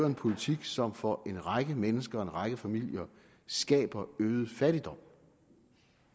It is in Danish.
en politik som for en række mennesker en række familier skaber øget fattigdom